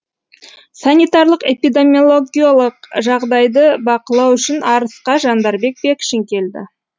санитарлық эпидемиологиялық жағдайды бақылау үшін арысқа жандарбек бекшин келді